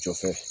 Jɔfɛ